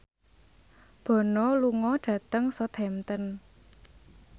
Bono lunga dhateng Southampton